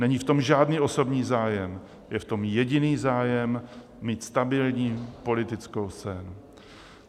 Není v tom žádný osobní zájem, je v tom jediný zájem - mít stabilní politickou scénu.